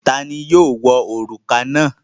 Ta ni yóò wọ òrùka náà?